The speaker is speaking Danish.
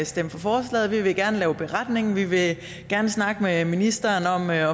stemme for forslaget vi vil gerne lave en beretning vi vil gerne snakke med ministeren om at